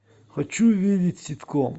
хочу увидеть ситком